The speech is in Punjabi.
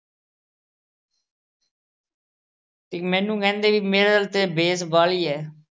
ਤੇ ਮੈਨੂੰ ਕਹਿੰਦੇ ਵੀ ਮੇਰੇ ਆਲੀ ਦੀ ਤਾਂ base ਵਾਲੀ ਐ।